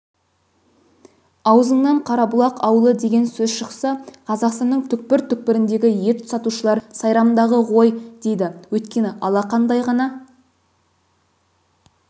аузыңнан қарабұлақ ауылы деген сөз шықса қазақстанның түкпір-түкпіріндегі ет сатушылар сайрамдағы ғой дейді өйткені алақандай ғана